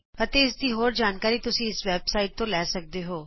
ਅਤੇ ਇਸ ਦੀ ਹੋਰ ਜਾਣਕਾਰੀ ਤੁਸੀਂ ਇਸ ਵੈਬ ਸਾਈਟ ਤੋਂ ਲੈ ਸਕਦੇ ਹੋ